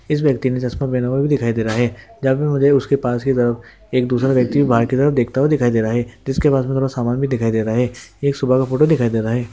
इस व्यक्ति ने चश्मा पहना हुआ भी दिखाई दे रहा है जहां पर मुझे उसके पास की तरफ एक दूसरा व्यक्ति बाहर की तरफ देखता हुआ दिखाई दे रहा है जिसके पास मे थोड़ा सामान भी दिखाई दे रहा है ये सुबह का फोटो दिखाई दे रहा है।